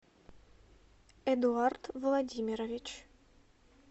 эдуард владимирович